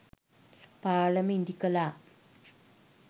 පාලම ඉදිකළා